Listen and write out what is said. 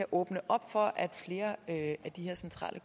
åbne op for at de centrale